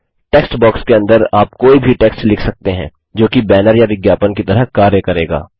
text box के अंदर आप कोई भी टेक्स्ट लिख सकते हैं जोकि बैनर या विज्ञापन की तरह कार्य करेगा